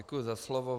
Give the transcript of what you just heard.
Děkuji za slovo.